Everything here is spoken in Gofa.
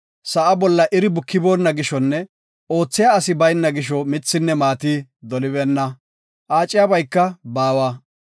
sa7a bolla iri bukiboona gishonne oothiya asi bayna gisho mithinne maati dolibeenna; aaciyabayka baawa.